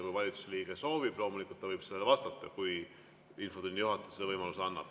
Kui valitsuse liige soovib, siis loomulikult ta võib vastata, kui infotunni juhataja selle võimaluse annab.